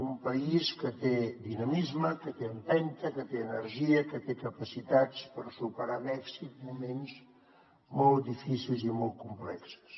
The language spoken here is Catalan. un país que té dinamisme que té empenta que té energia que té capacitats per superar amb èxit moments molt difícils i molt complexos